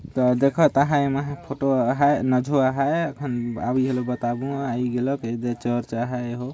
देखत आहाय एमे फोटो आहाय नाझो आहाय एठन आही हल बताबू आय गेलक ए दे चर्च आहाय एगो |